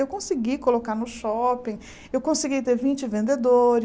Eu consegui colocar no shopping, eu consegui ter vinte